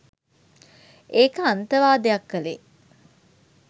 ඒක අන්තවාදයක් කලේ